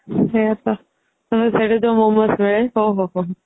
"ସେଇଆ ତ ତାପରେ ସେଠି ଯୋଉ momos ମିଳେ ଓ ହୋ ହୋ ହୋ"